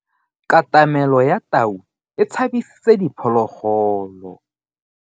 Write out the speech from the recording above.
Katamelo ya tau e tshabisitse diphologolo.